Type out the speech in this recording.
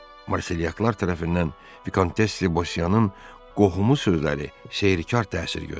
Marselyaklar tərəfindən Vikontes de Bosiyanın qohumu sözləri seyrkar təsir göstərdi.